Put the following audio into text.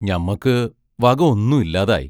ഞമ്മക്ക് വക ഒന്നും ഇല്ലാതായി.